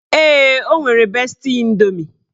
Ee, o nwere besti indomi